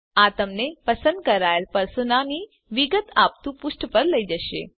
આ તમને પસંદ કરાયેલ પર્સોના ની વિગત આપતું પુષ્ઠ પર લઇ જશે